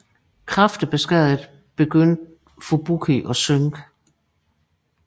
Kraftigt beskadiget begyndte Fubuki at synke